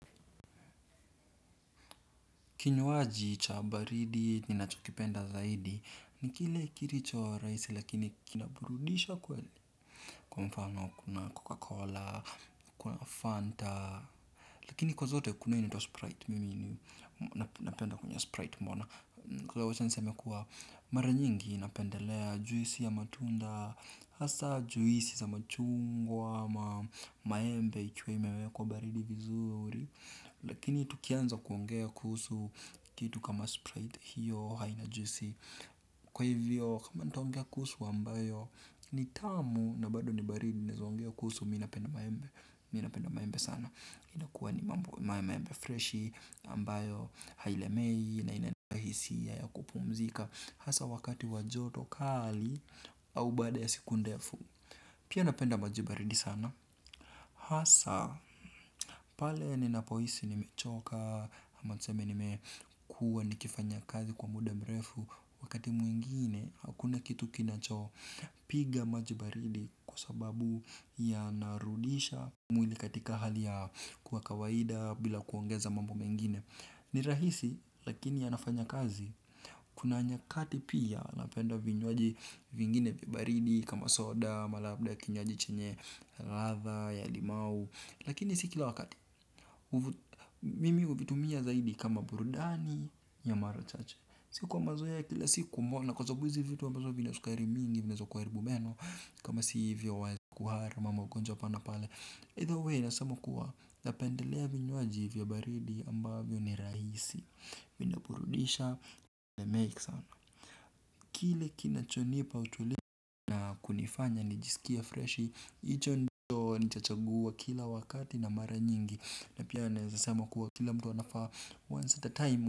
Kinywaji cha baridi ninachokipenda zaidi ni kile kile kilichorahisi lakini kinaburudisha kweli. Kwa mfano kuna coca cola, kuna fanta lakini kwa zote kuna hio inaitwa sprite mimi napenda kunywa sprite umeona. Kwa hivyo wacha niseme kuwa mara nyingi napendelea juisi ya matunda, hasa juisi za machungwa, ama maembe ikiwa imewekwa baridi vizuri. Lakini tukianza kuongea kuhusu kitu kama Sprite hiyo haina juisi. Kwa hivyo kama ntaongea kuhusu ambayo ni tamu na bado ni baridi naezaongea kuhusu napenda maembe mimi napenda maembe sana. Inakuwa ni maembe freshi ambayo hailemei na inahisia ya kupumzika. Hasa wakati wa joto kali au baada ya siku ndefu. Pia napenda maji baridi sana. Hasa pale nina pohisi nimechoka ama tuseme nime kuwa nikifanya kazi kwa muda mrefu wakati mwingine hakuna kitu kinacho piga majibaridi kwasababu yanarudisha mwili katika hali ya kuwa kawaida bila kuongeza mambo mengine. Ni rahisi lakini yanafanya kazi. Kuna nyakati pia napenda vinywaji vingine vya baridi. Kama soda, ama labda kinywaji chenye ladha, ya limau. Lakini si kila wakati. Mimi huvitumia zaidi kama burudani ya mara chache. Sio kwa mazoea ya kila siku umeona. Kwa sababu hizi vitu ambazo vina sukari mingi vinaeza kuharibu meno kama si hivyo kuhara mambo ya ugonjwa hapa na pale Either way nasema kuwa na pendelea vinywaji vya baridi ambavyo ni rahisi vinaburudisha na mengi sana. Kile kinachonipa utulivu na kunifanya nijisikie freshi hicho ndicho nitachagua kila wakati na mara nyingi. Na pia naezasema kuwa kila mtu anafaa once at a time.